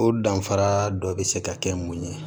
O danfara dɔ be se ka kɛ mun ye